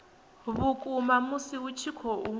vhukuma musi hu tshi khou